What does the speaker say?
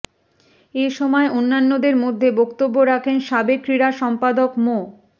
এ সময় অন্যান্যদের মধ্যে বক্তব্য রাখেন সাবেক ক্রীড়া সম্পাদক মো